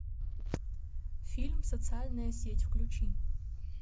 фильм социальная сеть включи